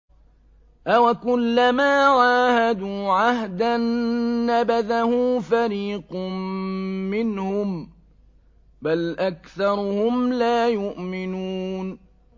أَوَكُلَّمَا عَاهَدُوا عَهْدًا نَّبَذَهُ فَرِيقٌ مِّنْهُم ۚ بَلْ أَكْثَرُهُمْ لَا يُؤْمِنُونَ